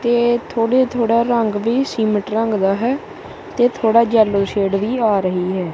ਤੇ ਥੋੜੇ ਥੋੜਾ ਰੰਗ ਵੀ ਸੀਮਟ ਰੰਗ ਦਾ ਹੈ ਤੇ ਥੋੜਾ ਯੈਲੋ ਸ਼ੇਡ ਵੀ ਆ ਰਹੀ ਹੈ।